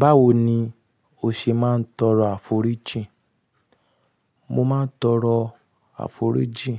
Báwo ni o ṣe máa ń tọrọ àforíjì? Mo máa ń tọrọ àforíjì